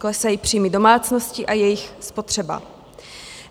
Klesají příjmy domácností a jejich spotřeba.